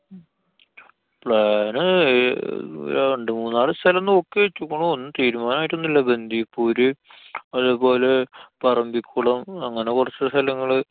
plan ന് ഏർ ആ രണ്ടു മൂന്നാല് സ്ഥലം നോക്കി വച്ചുക്കുണ്. ഒന്നും തീരുമാനായിട്ടൊന്നും ഇല്ല. ബന്തിപ്പൂര്, അതേപോലെ പറമ്പിക്കുളം അങ്ങനെ കുറച്ച് സ്ഥലങ്ങള്.